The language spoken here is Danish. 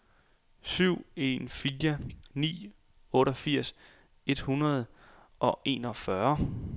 syv en fire ni otteogfirs et hundrede og enogfyrre